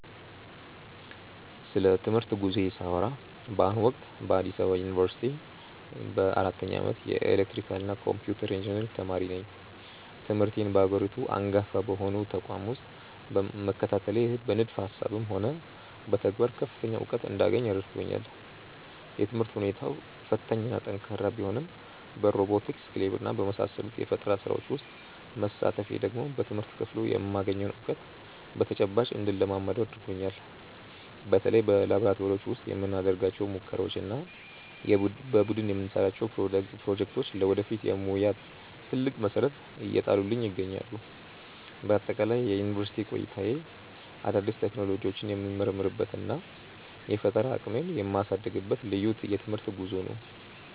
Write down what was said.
ስለ ትምህርት ጉዞዬ ሳወራ በአሁኑ ወቅት በአዲስ አበባ ዩኒቨርሲቲ በአራተኛ ዓመት የኤሌክትሪካልና ኮምፒውተር ኢንጂነሪንግ ተማሪ ነኝ። ትምህርቴን በሀገሪቱ አንጋፋ በሆነው ተቋም ውስጥ መከታተሌ በንድፈ ሃሳብም ሆነ በተግባር ከፍተኛ እውቀት እንዳገኝ ረድቶኛል። የትምህርት ሁኔታው ፈታኝና ጠንካራ ቢሆንም በሮቦቲክስ ክለብና በመሳሰሉት የፈጠራ ስራዎች ውስጥ መሳተፌ ደግሞ በትምህርት ክፍሉ የማገኘውን እውቀት በተጨባጭ እንድለማመደው አድርጎኛል። በተለይ በላብራቶሪዎች ውስጥ የምናደርጋቸው ሙከራዎችና የቡድን የምንሰራቸው ፕሮጀክቶች ለወደፊት የሙያ ትልቅ መሰረት እየጣሉልኝ ይገኛሉ። በአጠቃላይ የዩኒቨርሲቲ ቆይታዬ አዳዲስ ቴክኖሎጂዎችን የምመረምርበትና የፈጠራ አቅሜን የማሳድግበት ልዩ የትምህርት ጉዞ ነው።